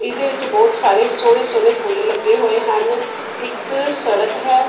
ਇਹਦੇ ਵਿੱਚ ਬਹੁਤ ਸਾਰੇ ਸੋਹਣੇ ਸੋਹਣੇ ਫੁੱਲ ਲੱਗੇ ਹੋਏ ਹਨ ਇੱਕ ਸੜਕ ਹੈ।